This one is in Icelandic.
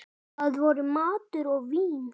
Það voru matur og vín.